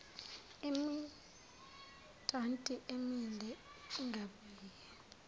imidanti emile ingabuye